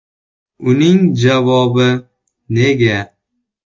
Uning javobi: “‘Nega?